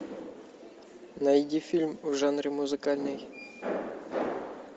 найди фильм в жанре музыкальный